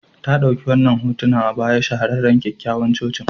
Ta ɗauki wadannan hotuna a bayan shahararren kyakkyawan cocin.